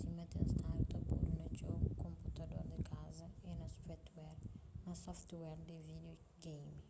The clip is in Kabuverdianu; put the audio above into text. sima ten stadu ta podu na txeu konputador di kaza y software di vídio geimi